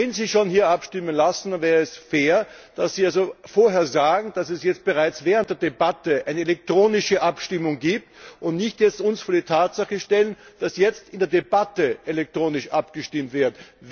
Wenn Sie schon hier abstimmen lassen, wäre es fair, dass Sie vorher sagen, dass es bereits während der Debatte eine elektronische Abstimmung gibt, und uns nicht jetzt vor die Tatsache stellen, dass jetzt in der Debatte elektronisch abgestimmt wird.